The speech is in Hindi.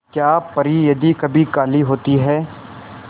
क्या परी यदि कभी काली होती है